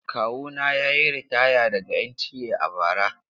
Kawuna ya yi ritaya daga NTA a bara.